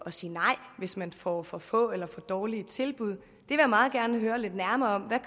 at sige nej hvis man får for få eller for dårlige tilbud at høre lidt nærmere om hvad